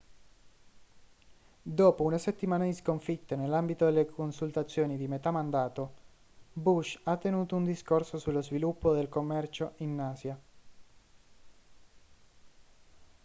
dopo una settimana di sconfitte nell'ambito delle consultazioni di metà mandato bush ha tenuto un discorso sullo sviluppo del commercio in asia